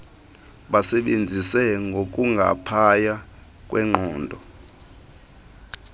basebenzise ngokungaphaya kweqondo